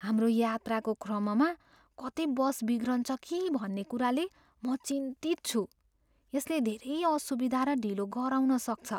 हाम्रो यात्राको क्रममा कतै बस बिग्रिन्छ कि भन्ने कुराले म चिन्तित छु, यसले धेरै असुविधा र ढिलो गराउन सक्छ।